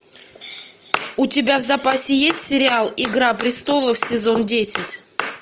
у тебя в запасе есть сериал игра престолов сезон десять